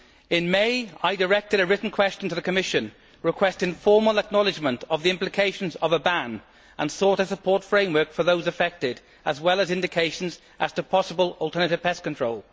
In May, I directed a written question to the Commission requesting formal acknowledgement of the implications of a ban and sought a support framework for those affected, as well as indications as to possible alternative pest control.